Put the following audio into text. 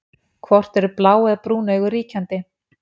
Hvort eru blá eða brún augu ríkjandi?